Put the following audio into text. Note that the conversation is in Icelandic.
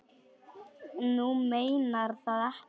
Þú meinar það ekki.